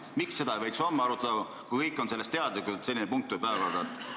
Miks seda ei võiks homme arutada, kui kõik on teadlikud, et selline punkt tuleb päevakorda?